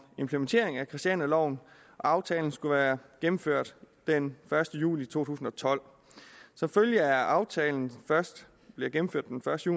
implementering af christianialoven aftalen skulle være gennemført den første juli to tusind og tolv som følge af at aftalen først bliver gennemført den første